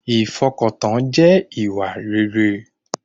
Ìfọkàntán jẹ́ ìwà rere